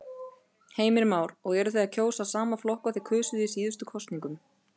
Heimir Már: Og eruð þið að kjósa sama flokk og þið kusuð í síðustu kosningum?